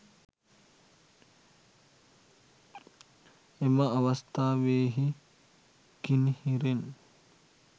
එම අවස්ථාවෙහි කිණිහිරෙන්